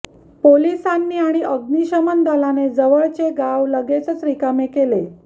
पोलिसांनी आणि अग्निशमन दलाने जवळचे गाव लगेचच रिकामे केले